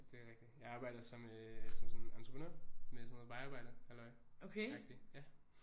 Det er rigtig jeg arbejder som øh som sådan entreprenør med sådan noget vejarbejde halløj agtig ja